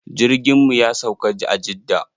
Jirgin mu ya sauka a jidda.